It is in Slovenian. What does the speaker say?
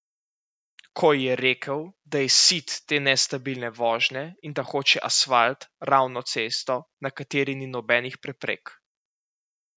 Ko ji je rekel, da je sit te nestabilne vožnje in da hoče asfalt, ravno cesto, na kateri ni nobenih preprek.